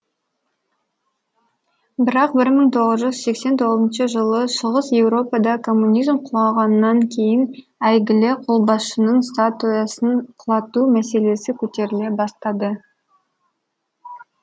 бірақ бір мың тоғыз жүз сексен тоғызыншы жылы шығыс еуропада коммунизм құлағаннан кейін әйгілі қолбасшының статуясын құлату мәселесі көтеріле бастады